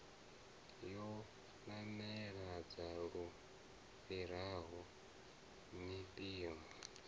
yo namedza lu fhiraho mpimo